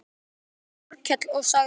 Þá hló Þórkell og sagði